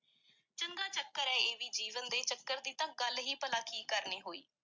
ਚੰਗਾ ਚੱਕਰ ਐ ਇਹ ਵੀ, ਜੀਵਨ ਦੇ ਚੱਕਰ ਦੀ ਤਾਂ ਗੱਲ ਹੀ ਭਲਾ ਕੀ ਕਰਨੀ ਹੋਈ।